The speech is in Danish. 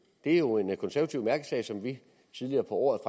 det er jo en konservativ mærkesag som vi tidligere på året